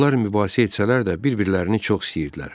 Onlar mübahisə etsələr də bir-birlərini çox istəyirdilər.